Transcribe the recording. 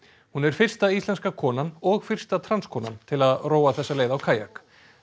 hún er fyrsta íslenska konan og fyrsta til að róa þessa leið á kajak